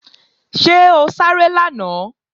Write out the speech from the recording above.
Ṣé o sáré lánàá?